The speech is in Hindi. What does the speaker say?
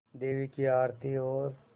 देवी की आरती और